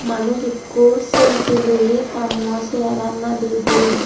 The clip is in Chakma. manuj ekku selfie loye taa muo sengeragan nade de.